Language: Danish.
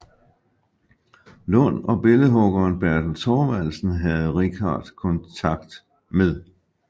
Lund og billedhuggeren Bertel Thorvaldsen havde Richardt kontakt med